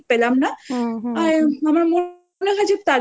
সেরকম view টা ঠিক পেলাম না।